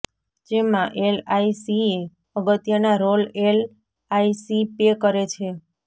જેમાં એલઆઈસીએ અગત્યનાં રોલ એલ આઈ સી પે કરે છે